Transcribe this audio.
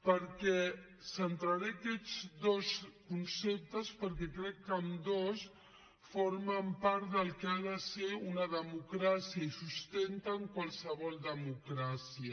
em centraré aquests dos conceptes perquè crec que ambdós formen part del que ha de ser una democràcia i sustenten qualsevol democràcia